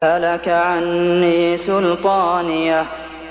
هَلَكَ عَنِّي سُلْطَانِيَهْ